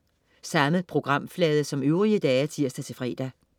Samme programflade som øvrige dage (tirs-fre)